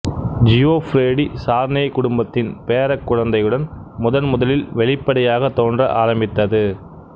Geoffrey de Charney குடும்பத்தின் பேரக் குழந்தையுடன் முதன் முதலில் வெளிப்படையாக தோன்ற ஆரம்பித்தது